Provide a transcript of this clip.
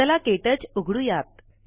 चला क्टच उघडूयात